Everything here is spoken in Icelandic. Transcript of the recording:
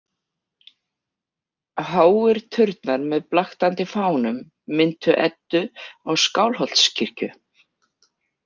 Háir turnar með blaktandi fánum minntu Eddu á Skálholtskirkju.